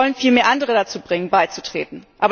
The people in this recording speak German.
Sie wollen vielmehr andere dazu bringen, beizutreten.